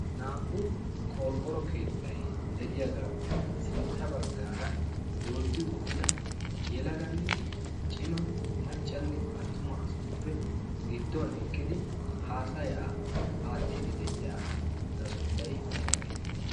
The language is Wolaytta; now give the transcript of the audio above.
naa'u qorqqoro keettay de'iyaagaappe sintta baggaara dooddi uttida yelaganne cima maccanne attuma asatuppe gidduwan eqqidi haasayaa aattidi de'iya'gaa sunttay aybaa geetettii?